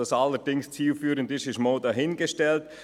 Ob dies allerdings zielführend ist, ist mal dahingestellt.